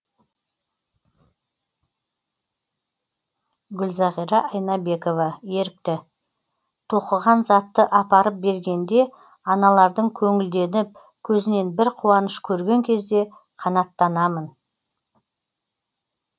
гүлзағира айнабекова ерікті тоқыған затты апарып бергенде аналардың көңілденіп көзінен бір қуаныш көрген кезде қанаттанамын